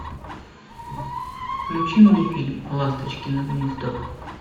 включи мне фильм ласточкино гнездо